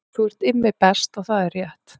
Þú ert Immi Best og það er rétt